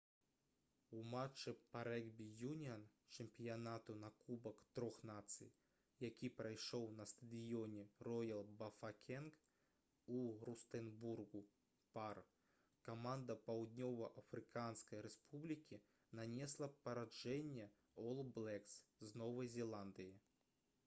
у матчы па рэгбі-юніан чэмпіянату на кубак трох нацый які прайшоў на стадыёне «роял бафакенг» у рустэнбургу пар каманда паўднёва-афрыканскай рэспублікі нанесла паражэнне «ол блэкс» з новай зеландыі